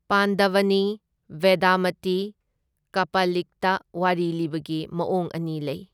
ꯄꯥꯟꯗꯚꯅꯤ, ꯕꯦꯗꯃꯇꯤ, ꯀꯄꯥꯂꯤꯛꯇ ꯋꯥꯔꯤ ꯂꯤꯕꯒꯤ ꯃꯑꯣꯡ ꯑꯅꯤ ꯂꯩ꯫